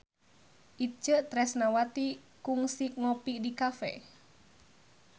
Itje Tresnawati kungsi ngopi di cafe